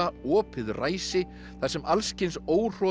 opið ræsi þar sem alls kyns